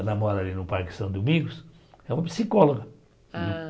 Ela mora ali no Parque São Domingos, é uma psicóloga. Ah